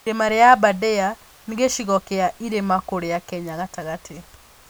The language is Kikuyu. Irĩma rĩa Aberdare nĩ gĩcigo kĩa irĩma kũrĩa Kenya gatagatĩ.